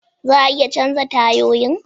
Za a iya canza tayoyin?